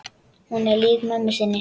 Hún er lík mömmu sinni.